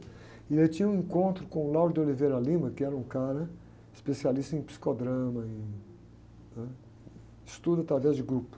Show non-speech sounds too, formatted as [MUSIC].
E ele tinha um encontro com o, [UNINTELLIGIBLE] que era um cara especialista em psicodrama, em, ãh, estudo através de grupo.